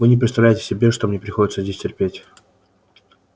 вы не представляете себе что мне приходится здесь терпеть